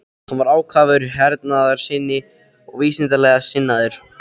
Hann var ákafur hernaðarsinni og vísindalega sinnaður.